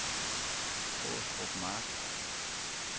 Åstrup Mark